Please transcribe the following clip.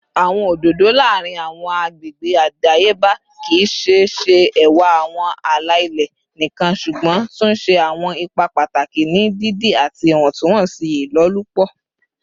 Awọn ododo laarin awọn agbegbe adayeba kii ṣe ṣe ẹwa awọn ala-ilẹ nikan ṣugbọn tun ṣe awọn ipa pataki ni didi ati iwọntunwọnsi ilolupo